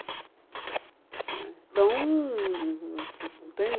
Né Então, não não não tenho...